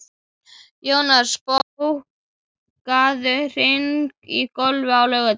Jónas, bókaðu hring í golf á laugardaginn.